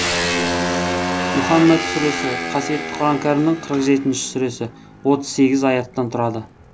мұһаммәд сүресі қасиетті құран кәрімнің қырық жетінші сүресі отыз сегіз аяттан тұрады